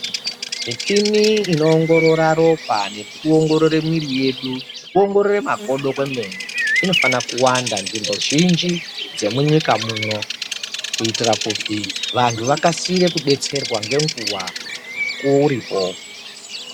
Michini inoongorora ropa nekuongorora mwiri yedu Nekuongorora makodo emene inofanira kuwanda nzvimbo zhinji dzemunyika muno kuitira kuti vantu vakwanise kudetserwa ngenguwa mukuwo uripo.